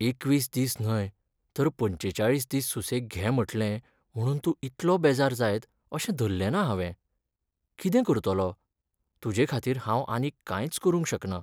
एकवीस दीस न्हय तर पंचेचाळीस दीस सुसेग घे म्हटलें म्हुणून तूं इतलो बेजार जायत अशें धरलें ना हावें. कितें करतलों? तुजेखातीर हांव आनीक कांयच करूंक शकना.